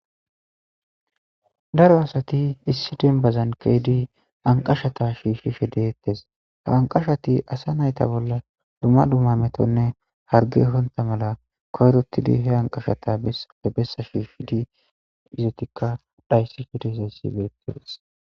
Daro asati issi denbazankeedi anqashata shiishshi shedeettes ha anqashati asa nayta bolla duma duma metonne harge honta mala koyrottidi he anqashata he bessa shiishidi izatikka dhayssi fhedesayssi betees.